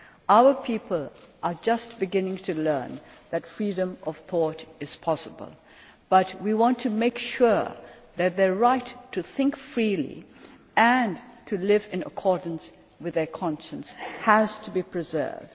Our people are just beginning to learn that freedom of thought is possible, but we want to make sure that their right to think freely and to live in accordance with their conscience is preserved.